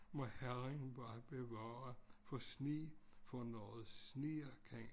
Må herren bare bevare for sne for når det sner kan